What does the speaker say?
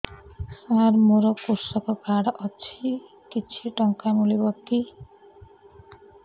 ସାର ମୋର୍ କୃଷକ କାର୍ଡ ଅଛି କିଛି ଟଙ୍କା ମିଳିବ କି